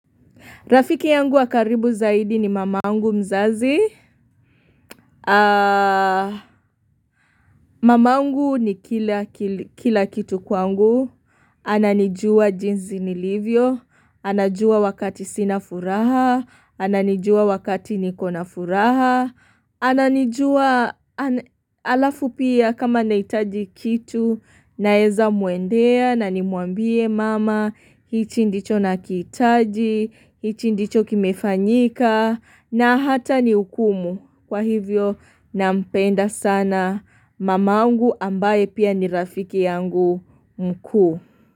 Rafiki yangu wakaribu zaidi ni mamangu mzazi. Mamangu ni kila kitu kwangu. Ananijua jinzi nilivyo. Anajua wakati sina furaha. Ananijua wakati nikona furaha. Ananijua alafu pia kama nahitaji kitu naeza muendea na nimuambie mama. Hichi ndicho nakitaji. Hichi ndicho kimefanyika. Na hata nihukumu kwa hivyo na mpenda sana mamaungu ambaye pia ni rafiki yangu mkuu.